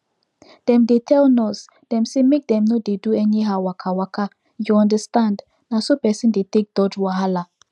dem dey tell nurse dem say make dem no dey do anyhow wakawaka you understand na so person dey take dodge wahala